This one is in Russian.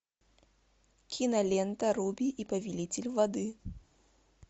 кинолента руби и повелитель воды